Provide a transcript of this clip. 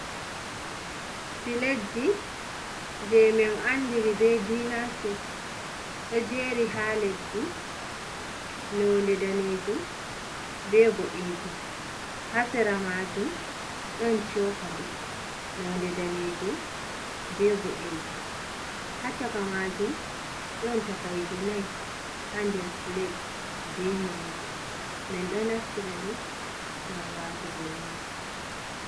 Plat ji je min andiri be dina set ɗo jeri ha leddi nonde danejum be boɗejum, hasera majum ɗon cokali nonde danejum be boɗejum, ha caka majum don takaije nai ha nder pilat be nyamdu, min do naftiraɗi ngam watugo nyamdu.